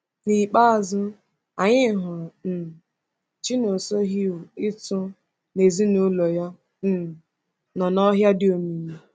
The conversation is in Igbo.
N’ikpeazụ, anyị hụrụ um Chinonsohew Itu na ezinụlọ ya um nọ n’ọhịa dị omimi.